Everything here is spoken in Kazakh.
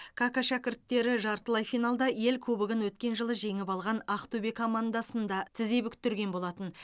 кака шәкірттері жартылай финалда ел кубогын өткен жылы жеңіп алған ақтөбе командасын да тізе бүктірген болатын